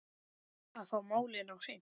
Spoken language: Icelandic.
Að fá málin á hreint